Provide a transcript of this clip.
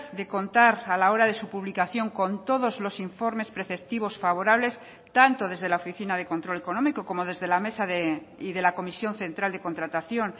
de contar a la hora de su publicación con todos los informes preceptivos favorables tanto desde la oficina de control económico como desde la mesa y de la comisión central de contratación